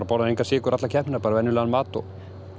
borðar engan sykur alla keppnina bara venjulegan mat og